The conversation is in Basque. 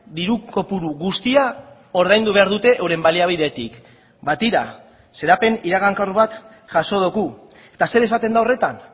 diru kopuru guztia ordaindu behar dute euren baliabidetik ba tira xedapen iragankor bat jaso dugu eta zer esaten da horretan